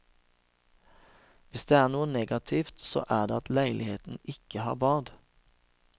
Hvis det er noe negativt så er det at leiligheten ikke har bad.